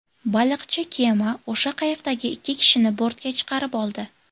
Baliqchi kema o‘sha qayiqdagi ikki kishini bortga chiqarib oldi.